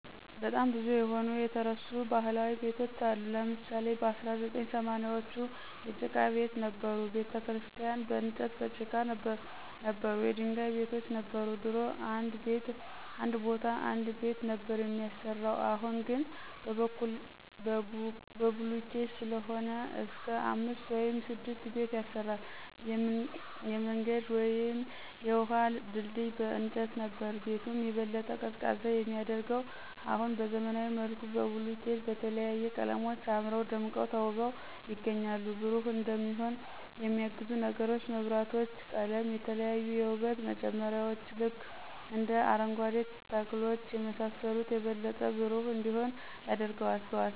በጣም ብዙ የተረሱ ባህላዊ ቤቶች አሉ ለምሳሌ በ1980ዎቹ የጭቃ ቤት ነበሩ፣ ቤተክርስቲያን በንጨትና በጭቃ ነበሩ፣ የድንጋይ ቤቶች ነበር፣ ድሮ እንድ ቤ ቦታ አንድ ቤት ነበር ሚያሰራው አሁን ግን በቡልኬት ሰለሆነ እስክ አምስት ውይም ስድስት ቤት ያሰራል፣ የምንገድ ውይም የውሀ ድልድይ በእንጨት ነበር። ቤቱን የበለጠ ቀዝቃዛ የሚያደርገው አሁን በዘመናዊ መልኩ በቡልኬት በተለያዩ ቀለሞች አምረው ደምቀው ተውበው ይገኛሉ። ብሩህ እንዲሆን የሚያግዙ ነገሮች መብራቶች፣ ቀለም፣ የተለያዩ የውበት መጨመርያዎች ልክ እንደ አረንጓኬ ተክሎች የመሳሰሉት የበለጠ ብሩህ እንዲሆን ያደርገዋል።